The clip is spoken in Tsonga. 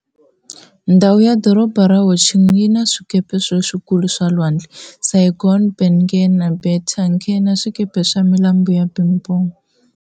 Ndhawu ya Doroba ra Ho Chi Minh yi na 4 wa swikepe leswikulu swa lwandle-Saigon, Ben Nghe, Nha Be, Tan Cang na swikepe swa milambu ya Binh Dong.